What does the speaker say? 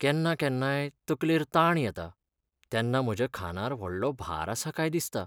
केन्ना केन्नाय, तकलेर ताण येता, तेन्ना म्हज्या खांदार व्हडलो भार आसा काय दिसता.